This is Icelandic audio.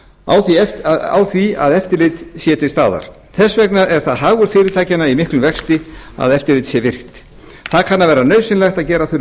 á því eftirliti sem er til staðar þess vegna er það hagur fyrirtækja í miklum vexti að eftirlitið sé virkt það kann að vera nauðsynlegt að gera þurfi